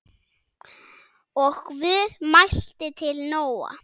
Og Guð mælti til Nóa